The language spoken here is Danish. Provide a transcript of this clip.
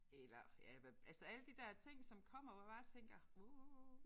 Eller ja hvad altså alle de der ting som kommer hvor man bare tænker uh